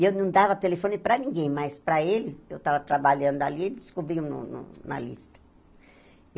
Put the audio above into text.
E eu não dava telefone para ninguém, mas para ele, eu estava trabalhando ali, ele descobriu no no na lista.